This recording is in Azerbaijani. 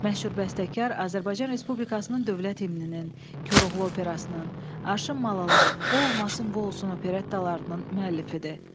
Məşhur bəstəkar Azərbaycan Respublikasının Dövlət Himninin, Koroğlu operasının, Arşın Malalan, O olmasın, bu olsun operettalarının müəllifidir.